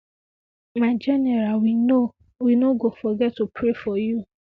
my general we no we no go forget to pray for you